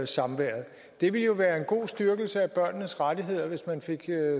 samværet det ville jo være en god styrkelse af børnenes rettigheder hvis man fik